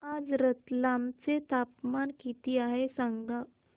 आज रतलाम चे तापमान किती आहे सांगा